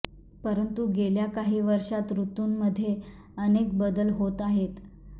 परंतु गेल्या काही वर्षांत ऋतूमध्ये अनेक बदल होत आहेत